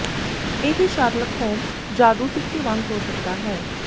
ਇਹ Sherlock Holmes ਜਾਦੂ ਸਿੱਕੇ ਵਾਂਗ ਹੋ ਸਕਦਾ ਹੈ